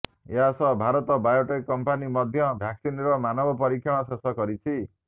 ଏହା ସହ ଭାରତ ବୟୋଟେକ କମ୍ପାନୀ ମଧ୍ୟ ଭ୍ୟାକ୍ସିନର ମାନବ ପରୀକ୍ଷଣ ଶେଷ କରିଛି